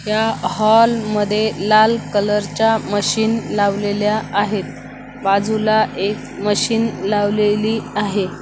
या हॉल मध्ये लाल कलर च्या मशीन लावलेल्या आहेत बाजूला एक मशीन लावलेली आहे.